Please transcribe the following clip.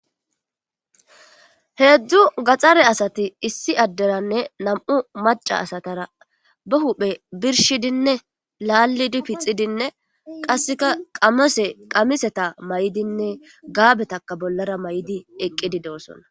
Heezu gaxare asati issi aderane nam'u maca asatara ba huuphe birshidine laalidi pixidine kaseka qamiseta mayidine gaabetaka bolara mayidi eqidosona.